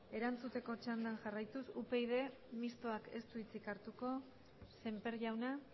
erantzuteko txandan jarraituz mistoa upydk ez du hitzik hartuko semper jauna